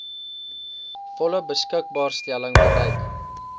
volle beskikbaarstelling bereik